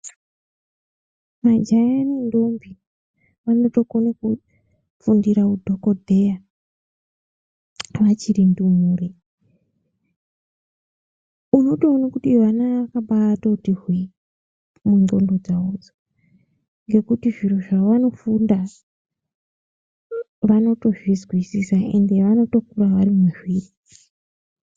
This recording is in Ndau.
Majaya nentombi vanotokone kufundira udhokodheya vachiri ndumure unotoone kuti vana vakabatoti hwe mundxondo dzavodzo ngekuti zviro zvavanofunda vanotozvizwisisa ende vanotokura vari mazviri.